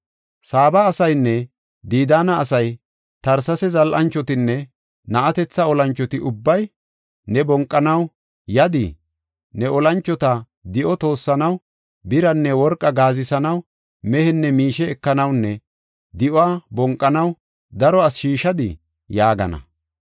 Saaba asaynne Didaana asay Tarsesa zal7anchotinne na7atethi olanchoti ubbay, ‘Ne bonqanaw yadii? Ne olanchota di7o toossanaw, biranne worqa gaazisanaw, mehenne miishe ekanawunne di7uwa bonqanaw daro asi shiishadii?’ ” yaagana.